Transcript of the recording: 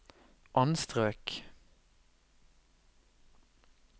anstrøk